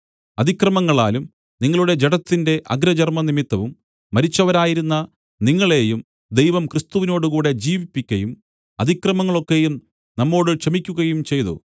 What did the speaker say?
അതിക്രമങ്ങളാലും നിങ്ങളുടെ ജഡത്തിന്റെ അഗ്രചർമം നിമിത്തവും മരിച്ചവരായിരുന്ന നിങ്ങളെയും ദൈവം ക്രിസ്തുവിനോടുകൂടെ ജീവിപ്പിക്കയും അതിക്രമങ്ങൾ ഒക്കെയും നമ്മോടു ക്ഷമിക്കുകയും ചെയ്തു